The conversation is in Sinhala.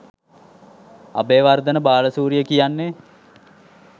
අබේවර්ධන බාලසූරිය කියන්නෙ